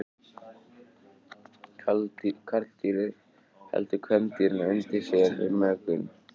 Karldýrið heldur kvendýrinu undir sér við mökun.